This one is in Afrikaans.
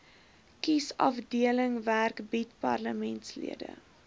kiesafdelingwerk bied parlementslede